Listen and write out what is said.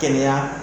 Kɛnɛya